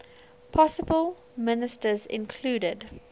possible ministers included